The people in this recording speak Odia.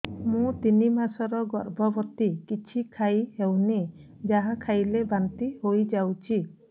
ମୁଁ ତିନି ମାସର ଗର୍ଭବତୀ କିଛି ଖାଇ ହେଉନି ଯାହା ଖାଇଲେ ବାନ୍ତି ହୋଇଯାଉଛି